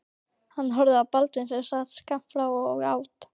Hann horfði á Baldvin sem sat skammt frá og át.